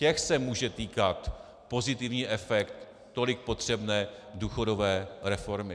Těch se může týkat pozitivní efekt tolik potřebné důchodové reformy.